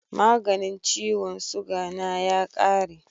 maganin ciwon suga na ya kare